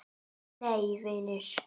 Nei vinir!